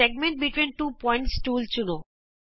ਦੋ ਬਿੰਦੂਆਂ ਵਿਚ ਵ੍ਰਤ ਖੰੰਡ ਟੂਲ ਚੁਣੋ